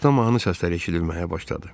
Uzaqdan mahnı səsləri eşidilməyə başladı.